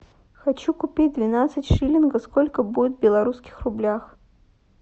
хочу купить двенадцать шиллингов сколько будет в белорусских рублях